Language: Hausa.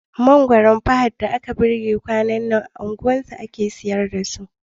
Mangoron Fahad da aka girbe kwanan nan, a unguwarsu ake siyar da su.